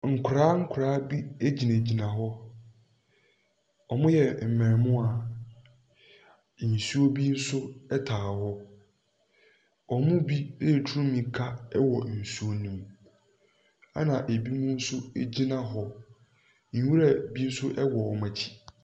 Nkwadaa nkwadaa bi gyinagyina hɔ, wɔyɛ mmaamua, nsuo bi nso taa hɔ, wɔn mu bi ɛretu mirika wɔ nsuo ne mu, na binom nso gyina hɔ. Nwura bi nso wɔ wɔn akyi.